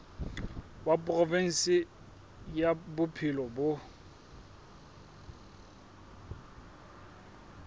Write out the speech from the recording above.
wa provinse ya bophelo bo